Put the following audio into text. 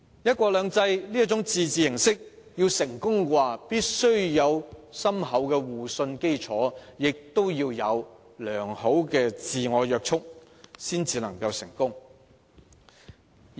"一國兩制"這種自治形式要獲得成功，必須有深厚的互信基礎，以及良好的自我約束。